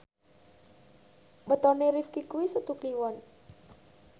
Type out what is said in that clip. wetone Rifqi kuwi Setu Kliwon